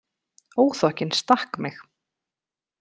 Óþokkinn stakk mig.